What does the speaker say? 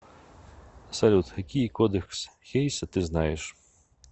салют какие кодекс хейса ты знаешь